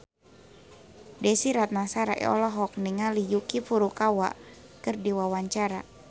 Desy Ratnasari olohok ningali Yuki Furukawa keur diwawancara